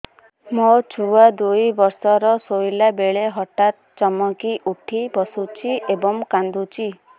ମୋ ଛୁଆ ଦୁଇ ବର୍ଷର ଶୋଇଲା ବେଳେ ହଠାତ୍ ଚମକି ଉଠି ବସୁଛି ଏବଂ କାଂଦୁଛି